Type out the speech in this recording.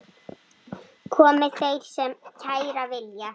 Komi þeir sem kæra vilja.